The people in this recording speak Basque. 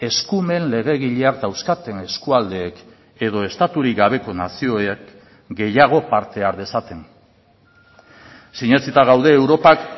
eskumen legegileak dauzkaten eskualdeek edo estaturik gabeko nazioek gehiago parte har dezaten sinetsita gaude europak